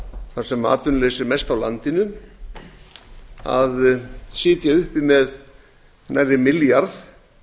þar sem atvinnuleysi er mest á landinu að sitja uppi með nærri milljarð